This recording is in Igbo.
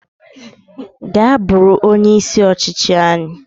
Gaa buru onye isi ọchịchị anyi